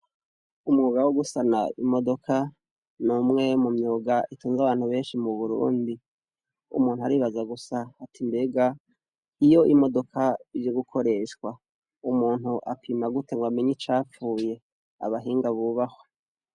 Umwuga wo gusana imodoka, n’umwe mu myuga itunze abantu benshi mu burundi. Umuntu aribaza gusa ati mbega iyo imodoka ije gukoreshwa umunti apima gute ngo amenye icapfuye? Abahinga bubahwe.